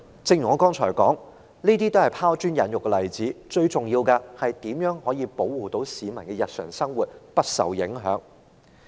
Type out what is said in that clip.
正如我剛才所說，這些只是拋磚引玉的例子，最重要的就是要保護市民的日常生活不受影響。